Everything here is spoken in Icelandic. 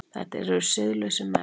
Þetta eru siðlausir menn!